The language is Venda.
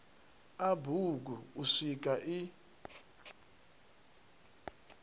a bugu u swika i